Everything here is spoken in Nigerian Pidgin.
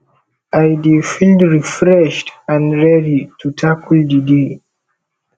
i dey feel refreshed and ready to tackle di day